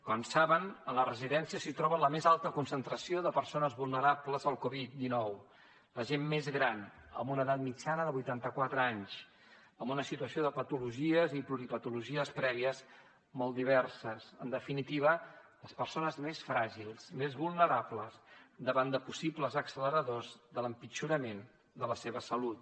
com saben a les residències s’hi troba la més alta concentració de persones vulnerables al covid dinou la gent més gran amb una edat mitjana de vuitanta quatre anys amb una situació de patologies i pluripatologies prèvies molt diverses en definitiva les persones més fràgils més vulnerables davant de possibles acceleradors de l’empitjorament de la seva salut